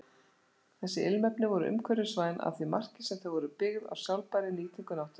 Þessi ilmefni voru umhverfisvæn að því marki sem þau voru byggð á sjálfbærri nýtingu náttúrunnar.